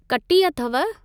कटी अथव ?